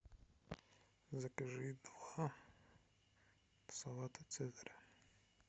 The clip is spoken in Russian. закажи два салата цезаря